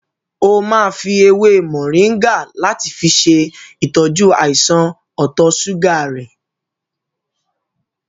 O máa fi èwe moringa láti fi ṣe ìtọ́jú àìsàn ọ̀tọ̀ ṣúgà rẹ̀.